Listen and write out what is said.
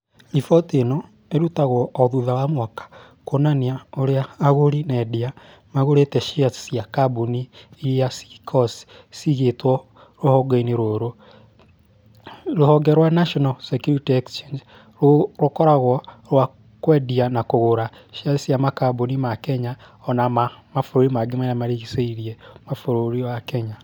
Riboti ĩno ĩrutagwo o thutha wa mwaka kuonania ũrĩa agũri na endia magũrĩte shares cia kambuni iria cikoragwo ciigĩtwo rũhonge-inĩ rũrũ. Rũhonge rwa National Securities rũkoragwo rwa kwendia na kũgũra shares cia makambuni ma Kenya o na mabũrũri mangĩ marĩa marigicĩirie mabũrũrĩ wa Kenya.